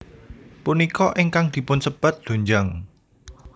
Punika ingkang dipunsebat doenjang